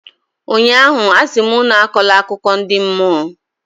ụnyaahụ, a sị m unu akọla akụkọ ndi mmụọ!